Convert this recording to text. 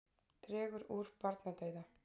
Dregur úr barnadauða